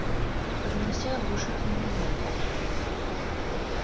поднялся оглушительный лай